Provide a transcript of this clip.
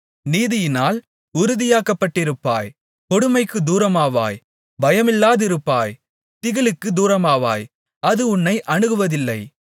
நீதியினால் உறுதியாக்கப்பட்டிருப்பாய் கொடுமைக்குத் தூரமாவாய் பயமில்லாதிருப்பாய் திகிலுக்குத் தூரமாவாய் அது உன்னை அணுகுவதில்லை